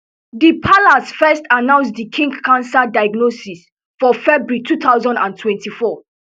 di palace first announce di king cancer diagnosis for february two thousand and twenty-four